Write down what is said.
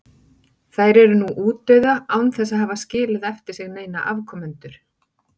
Þær eru nú útdauða án þess að hafa skilið eftir sig neina afkomendur.